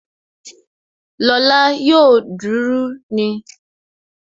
Lọ́la yóò duru ni